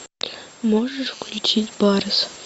можешь включить барс